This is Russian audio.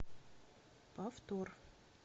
повтор